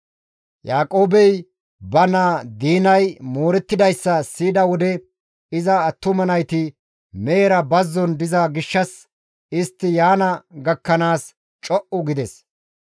Yaaqoobey ba naa Diinay moorettidayssa siyida wode iza attuma nayti mehera bazzon diza gishshas istti yaana gakkanaas co7u gides.